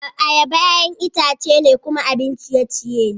Ayaba, ƴa'ƴan itace ne kuma abun ciye-ciye ne.